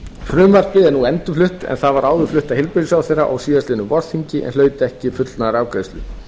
frumvarpið er nú endurflutt en það var áður flutt af heilbrigðisráðherra á síðastliðnu vorþingi en hlaut ekki fullnaðarafgreiðslu